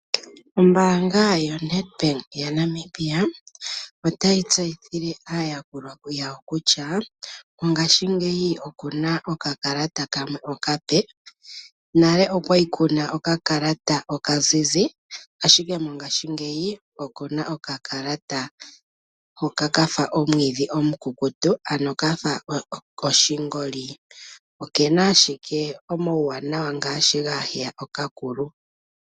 Ombaanga yaNedbank moNamibia otayi tseyithile aayakulwa yawo kutya ngaashingeyi okuna oka kalata kamwe okape, nale okwali kuna oka kalata kamwe oka zizi, ashike mongaashingeyi okuna oka kalata hoka kafa omwiidhi omukukutu ano kafa oshingoli. Okena ashike omauwanawa ngaashi gaaheya oka kulu.